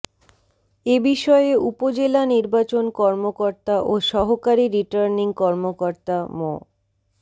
এ বিষয়ে উপজেলা নির্বাচন কর্মকর্তা ও সহকারী রিটার্নিং কর্মকর্তা মো